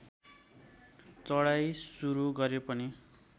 चढाइ सुरू गरे पनि